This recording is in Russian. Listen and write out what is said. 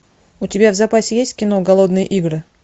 у тебя в запасе есть кино голодные игры